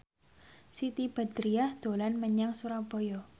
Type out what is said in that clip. Siti Badriah dolan menyang Surabaya